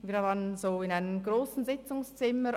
Wir sassen «aufgereiht» in einem grossen Sitzungszimmer.